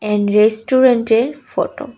And রেস্টুরেন্টের photo.